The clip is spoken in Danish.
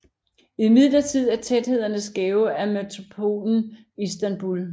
Imidlertid er tæthederne skæve af metropolen Istanbul